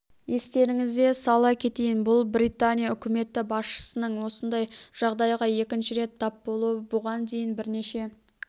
естеріңізе сала кетейін бұл британия үкіметі басшысының осындай жағдайға екінші рет тап болуы бұған дейін бірнеше